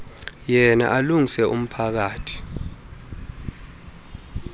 yena alungise umphakathi